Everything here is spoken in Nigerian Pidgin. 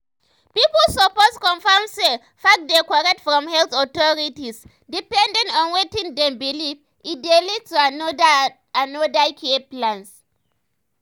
pipu suppose confirm say facts dey korrect from health authorities depending on wetin dem believe e dey lead to another to another care plans.